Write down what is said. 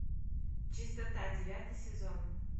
чистота девятый сезон